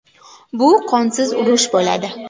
Bu qonsiz urush bo‘ladi.